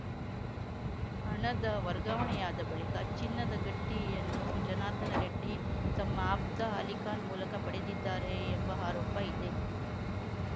ಹಣದ ವರ್ಗಾವಣೆಯಾದ ಬಳಿಕ ಚಿನ್ನದ ಗಟ್ಟಿಯನ್ನು ಜನಾರ್ದನ ರೆಡ್ಡಿ ತಮ್ಮ ಆಪ್ತ ಅಲಿಖಾನ್‌ ಮೂಲಕ ಪಡೆದಿದ್ದಾರೆ ಎಂಬ ಆರೋಪ ಇದೆ